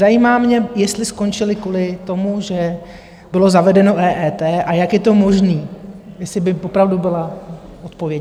Zajímá mě, jestli skončili kvůli tomu, že bylo zavedeno EET, a jak je to možné, jestli by opravdu byla odpověď.